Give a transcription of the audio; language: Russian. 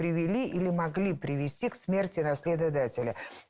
привели или могли привести к смерти наследодателя